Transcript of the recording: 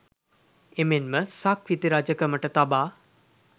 එමෙන්ම සක්විති රජකමට තබා